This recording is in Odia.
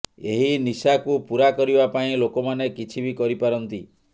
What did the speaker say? ଏହି ନିଶାକୁ ପୂରା କରିବା ପାଇଁ ଲୋକମାନେ କିଛି ବି କରିପାରନ୍ତି